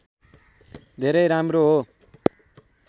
धेरै राम्रो हो